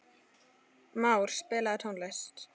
Már, spilaðu tónlist.